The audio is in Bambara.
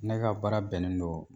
Ne ka baara bɛnnen don